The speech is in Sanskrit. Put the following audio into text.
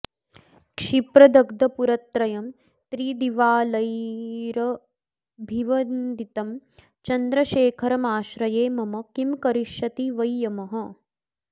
क्षिप्रदग्धपुरत्रयं त्रिदिवालयैरभिवन्दितं चन्द्रशेखरमाश्रये मम किं करिष्यति वै यमः